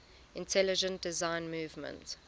intelligent design movement